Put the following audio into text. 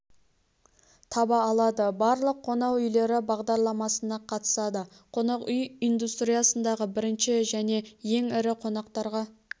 таба алады барлық қонақ үйлері бағдарламасына қатысады қонақ үй индустриясындағы бірінші және ең ірі қонақтарға